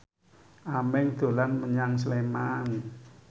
Aming dolan menyang Sleman